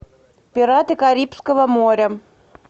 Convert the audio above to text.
пираты карибского моря